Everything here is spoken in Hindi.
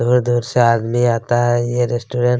दूर- दूर से आदमी आता है यह रेस्टोरेंट --